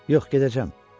Yox, gedəcəm.